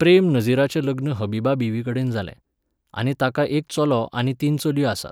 प्रेम नझीराचें लग्न हबीबा बीवीकडेन जालें, आनी तांकां एक चलो आनी तीन चलयो आसात.